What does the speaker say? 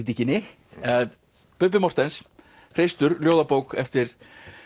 krítíkinni Bubbi Morthens hreistur ljóðabók eftir